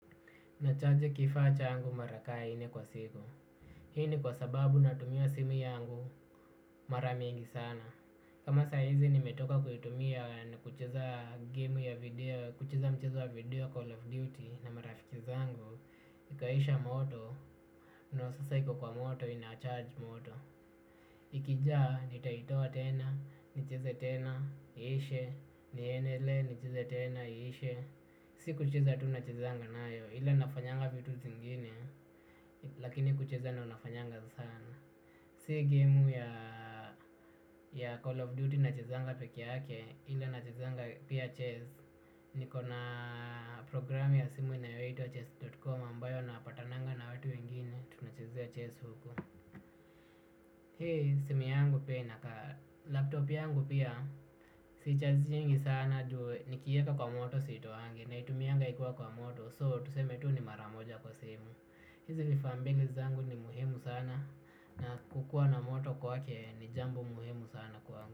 Nachaji kifaa changu mara kaa nne kwa siku. Hii ni kwa sababu natumia simu yangu mara mingi sana. Kama saizi nimetoka kuitumia na kucheza game ya video, kucheza mchezo ya video Call of Duty na marafiki zangu. Ikaisha moto, ndo sasa iko kwa moto, inacharge moto. Ikijaa, nitaitoa tena, nicheze tena, iishe, niendelee, nicheze tena, iishe. Si kucheza tu nachezanga nayo ila nafanyanga vitu zingine lakini kucheza ndo nafanyanga sana. Si game ya Call of Duty nachezanga peke yake ila nachezanga pia chess. Niko na programu ya simu inayoitwa chess.com ambayo napatananga na watu wengine tunachezea chess huko. Hii simu yangu pia inakaa. Laptop yangu pia sichajingi sana ndo nikiweka kwa moto siitoangi naitumianga ikuwa kwa moto, so tuseme tu ni maramoja kwa siku. Hizi vifaa mbili zangu ni muhimu sana. Na kukua na moto kwake ni jambo muhimu sana kwangu.